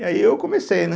E aí eu comecei, né?